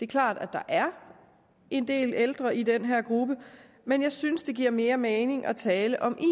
klart at der er en del ældre i den her gruppe men jeg synes det giver mere mening at tale om